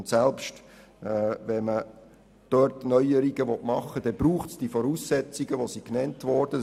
Und selbst wenn man dort Neuerungen machen möchte, braucht es die Voraussetzungen, welche genannt wurden.